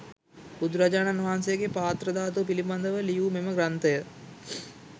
බුදුරජාණන් වහන්සේගේ පාත්‍ර ධාතුව පිළිබඳව ලියූ මෙම ග්‍රන්ථය